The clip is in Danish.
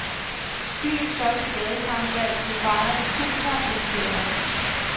Byens første gadekarneval blev fejret med tusinder af deltagere.